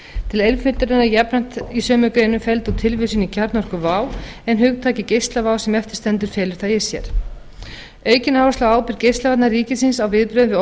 til einföldunar er jafnframt í sömu greinum felld út tilvísun í kjarnorkuvá en hugtakið geislavá sem eftir stendur felur það í sér aukin áhersla á ábyrgð geislavarna ríkisins á viðbrögðum við